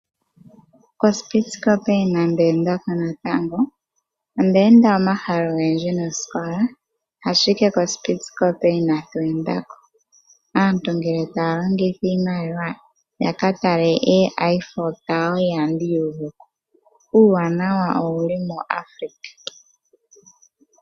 KoSpitzkoppe inandi enda ko natango. Onda enda omahala ogendji nosikola, ashike koSpitzkoppe inatu enda ko. Aantu ngele taya longitha iimaliwa ya ka tale handi ya yomafuta ihandi yu uvu ko. Uuwanawa owu li muAfrika.